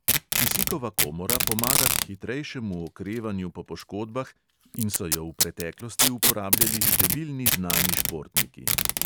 Kisikova komora pomaga k hitrejšemu okrevanju po poškodbah in so jo v preteklosti uporabljali številni znani športniki.